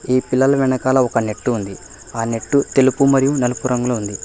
ఈ పిల్లలు వెనకాల ఒక నెట్టు ఉంది ఆ నెట్టు తెలుపు మరియు నలుపు రంగులో ఉంది.